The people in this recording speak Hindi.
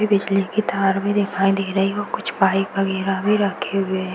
ई बिजली की तार भी दिखाई दे रही है। कुछ बाइक वगैरा भी रखे हुए हैं।